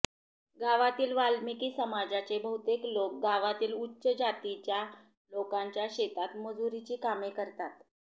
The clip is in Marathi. गावातील वाल्मिकी समाजाचे बहुतेक लोक गावातील उच्च जातींच्या लोकांच्या शेतात मुजुरीची कामे करतात